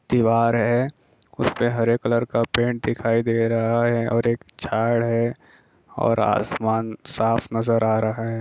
दीवार है उसपे हरे कलर का पेंट दिखाई दे रहा हैऔर एक झाड़ है और असमान साफ नजर आ रहा है।